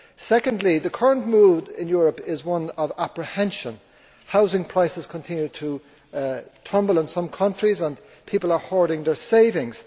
Secondly, the current mood in Europe is one of apprehension housing prices continue to tumble in some countries and people are hoarding their savings.